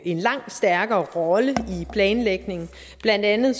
en langt stærkere rolle i planlægningen blandt andet